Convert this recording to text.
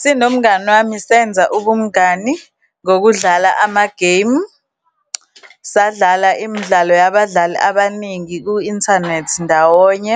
Sinomngani wami, senza ubumngani ngokudlala amagemu. Sadlala imidlalo yabadlali abaningi ku-inthanethi ndawonye,